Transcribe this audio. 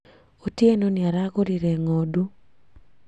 Otieno nĩaragũrire ngo´ndũ